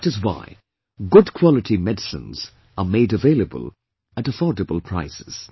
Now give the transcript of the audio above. That is why good quality medicines are made available at affordable prices